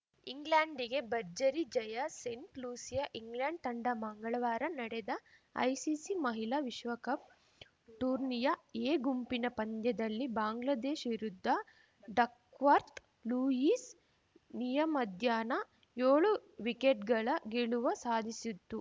ಇಂಗ್ಲೆಂಡ್‌ಗೆ ಭರ್ಜರಿ ಜಯ Saint Lucia England ತಂಡ ಮಂಗಳವಾರ ನಡೆದ ಐಸಿಸಿ ಮಹಿಳಾ ವಿಶ್ವಕಪ್‌ ಟೂರ್ನಿಯ ಎ ಗುಂಪಿನ ಪಂದ್ಯದಲ್ಲಿ ಬಾಂಗ್ಲಾದೇಶ್ ವಿರುದ್ಧ ಡಕ್ವರ್ತ್ ಲೂಯಿಸ್‌ ನಿಯಮದ್ಯಾನ ಯೋಳು ವಿಕೆಟ್‌ಗಳ ಗೆಲುವ ಸಾಧಿಸಿತ್ತು